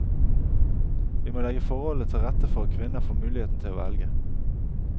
Vi må legge forholdene til rette for at kvinner får muligheten til å velge.